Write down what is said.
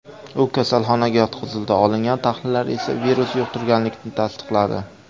U kasalxonaga yotqizildi, olingan tahlillar esa virusni yuqtirganlikni tasdiqladi.